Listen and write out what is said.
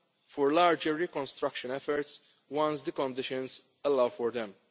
the ground for larger reconstruction efforts once the conditions allow